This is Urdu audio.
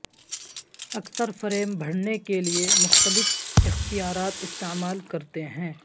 اکثر فریم بھرنے کے لئے مختلف اختیارات استعمال کرتے ہیں